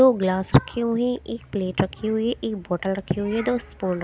दो ग्लास रखी हुई एक प्लेट रखी हुई हैं एक बॉटल रखी हुई दो स्पून --